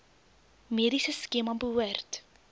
mediese skema behoort